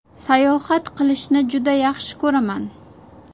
Sayohat qilishni juda yaxshi ko‘raman.